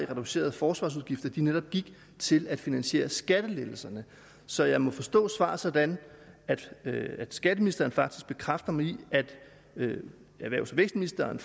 reducerede forsvarsudgifter netop gik til at finansiere skattelettelserne så jeg må forstå svaret sådan at skatteministeren faktisk bekræfter mig i at erhvervs og vækstministeren